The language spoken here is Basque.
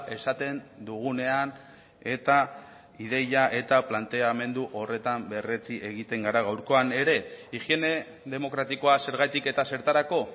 esaten dugunean eta ideia eta planteamendu horretan berretsi egiten gara gaurkoan ere higiene demokratikoa zergatik eta zertarako